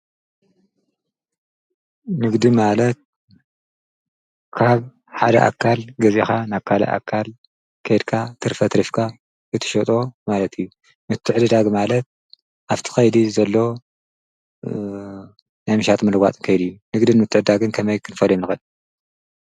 ንግዲ ማለት ካብ ሓደ ኣካል ገዜኻ ናብ ካልእ ኣካል ከድካ ትርፈ ኣትሪፍካ እትሸጦ ማለት እዩ። ምትዕድዳግ ማለት ኣፍቲ ኻይዲ ዘሎ ናይ ምሻጥን ምልዋጥን ከይድ እዩ። ንግድ ምተዕድዳግን ከመይ ክንፈልዮም ንክአል?